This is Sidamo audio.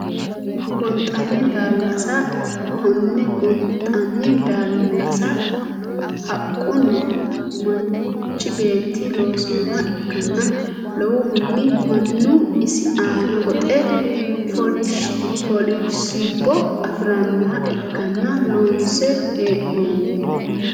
Gonxani daalasa kone gonxani daalasa haqquni manichi beeti loosinoha ikana lowohuni mannu isi aana goxe foolishsbo afiranoha ikkana loonse henoni.